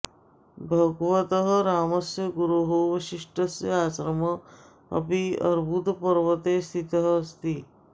भगवतः रामस्य गुरोः वसिष्ठस्य आश्रमः अपि अर्बुदपर्वते स्थितः अस्ति